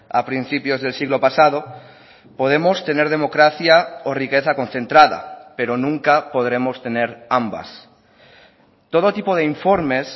a principios del siglo pasado podemos tener democracia o riqueza concentrada pero nunca podremos tener ambas todo tipo de informes